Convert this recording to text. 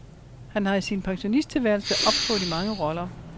Han har i sin pensionisttilværelse optrådt i mange roller.